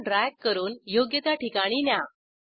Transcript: रचना drag करून योग्य त्या ठिकाणी न्या